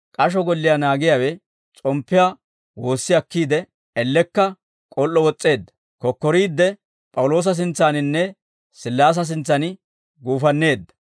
K'asho golliyaa naagiyaawe s'omppiyaa woossi akkiide, ellekka k'ol"o wos's'eedda; kokkoriidde P'awuloosa sintsaaninne Sillaase sintsan guufanneedda;